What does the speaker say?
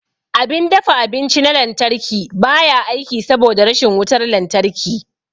Abin dafa abinci na lantarki ba ya aiki saboda rashin wutar lantarki.